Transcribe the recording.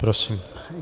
Prosím.